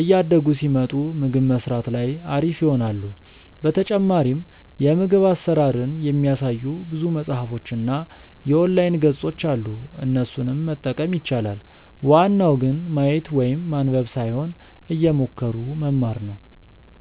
እያደጉ ሲመጡ ምግብ መስራት ላይ አሪፍ ይሆናሉ። በተጨማሪም የምግብ አሰራርን የሚያሳዩ ብዙ መፅሀፎች እና የኦንላይን ገፆች አሉ እነሱንም መጠቀም ይቻላል። ዋናው ግን ማየት ወይም ማንበብ ሳይሆን እየሞከሩ መማር ነው